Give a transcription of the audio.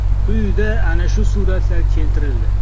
Quyida ana shu suratlar keltirildi.